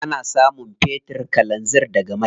Ana samun fetir, kalanzir daga mai.